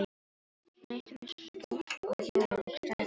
Næstum eins stórt og jól og stærra en afmæli.